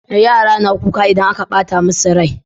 Yara na kuka idan aka ɓata musu rai